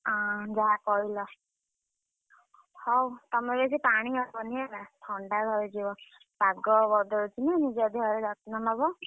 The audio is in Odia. ଅଁ ଯାହା କହିଲ। ହଉ ତମେ ବେଶୀ ପାଣି ହବନି ହେଲା ଥଣ୍ଡା ଧରିଯିବ। breath ପାଗ ବଦଳୁଛି ନିଜ ଦେହର ଯତ୍ନ ନବ।